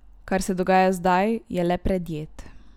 Kar se dogaja zdaj, je le predjed.